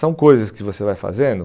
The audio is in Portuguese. São coisas que você vai fazendo.